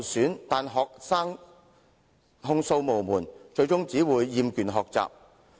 可是，學生控訴無門，最終只會厭倦學習。